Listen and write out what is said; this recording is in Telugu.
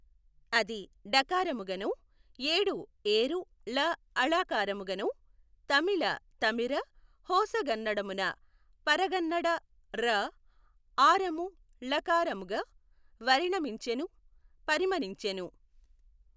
అది డ కారముగనో ఏడు ఏఱు ల ళ కారముగనో తమిల తమిఱ హోసగన్నడమున పఱగన్నడ ఱా ఆరము ళ కారముగ వరిణమించెను పరిమణించెను.